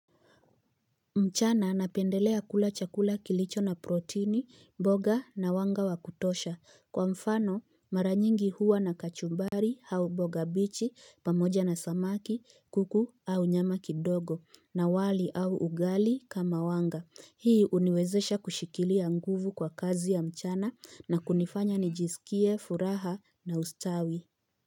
Mchana napendelea kula chakula kilicho na protini, mboga na wanga wakutosha. Kwa mfano, mara nyingi huwa na kachumbari hau mboga bichi, pamoja na samaki, kuku au nyama kidogo, na wali au ugali kama wanga. Hii uniwezesha kushikilia nguvu kwa kazi ya mchana na kunifanya nijisikie, furaha na ustawi.